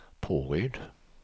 Påryd